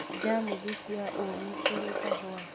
Njamuthi cia ũũme kũrĩ kahũa